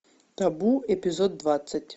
табу эпизод двадцать